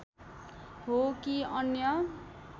हो कि अन्य